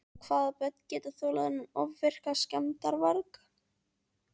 Og hvaða börn geta þolað þennan ofvirka skemmdarvarg?